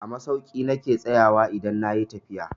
A masauki na ke tsayawa idan na yi tafiya.